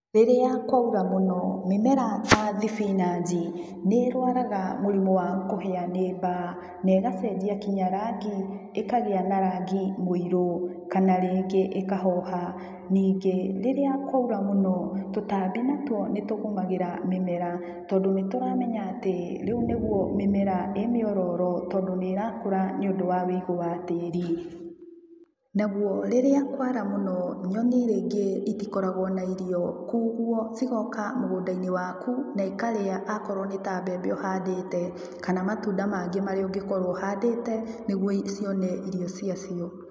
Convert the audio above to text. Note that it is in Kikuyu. Rĩrĩa kwaura mũno mĩmera ta thibinanji nĩĩrwaraga mĩrimũ ta wa kũhĩa nĩ mbaa, na ĩgacenjia nginya rangi ĩkagĩa na rangi mũirũ kana rĩngĩ ĩkahoha, ningĩ rĩrĩa kwaura mũno tũtambi natuo nĩtũgũmagĩra mĩera tondũ nĩtũmamenya atĩ rĩu nĩrĩo mĩmera ĩ mĩororo tondũ nĩĩrakũra nĩũndũ wa ũigũ wa tĩrĩ. Naguo rĩrĩa kwara mũno nyoni rĩngĩ itikoragwo na irio koguo cigoka mũgũndainĩ waku na ikarĩa akorwo nĩ mbembe ũhandĩte, kana matunda mangĩ marĩa ũngĩkorwo ũhandĩte nĩguo cione irio ciacio.